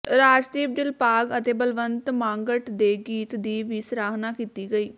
ਰਾਜਦੀਪ ਦਿਗਪਾਲ ਅਤੇ ਬਲਵੰਤ ਮਾਂਗਟ ਦੇ ਗੀਤ ਦੀ ਵੀ ਸਰਾਹਨਾ ਕੀਤੀ ਗਈ